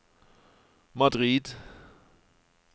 Madrid